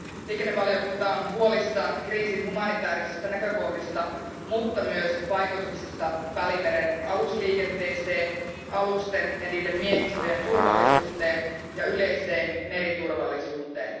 Liikennevaliokunta on huolissaan kriisin humanitäärisistä näkökohdista, mutta myös vaikutuksista Välimeren alusliikenteeseen, alusten ja niiden miehistöjen turvallisuuteen ja yleiseen meriturvallisuuteen.